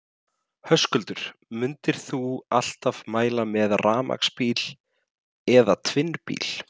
Höskuldur: Myndir þú alltaf mæla með rafmagnsbíla eða tvinnbíl?